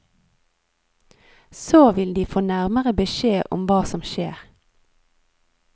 Så vil de få nærmere beskjed om hva som skjer.